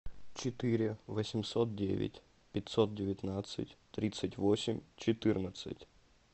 четыре восемьсот девять пятьсот девятнадцать тридцать восемь четырнадцать